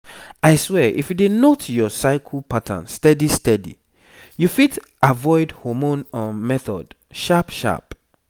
i swear if you dey note your cycle pattern steady steady you fit avoid hormone um method sharp sharp